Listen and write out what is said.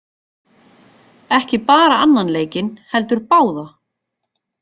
Ekki bara annan leikinn heldur báða!